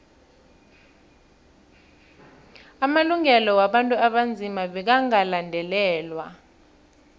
amalungelo wabantu abanzima bekagandelelwe